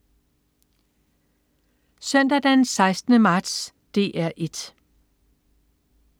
Søndag den 16. marts - DR 1: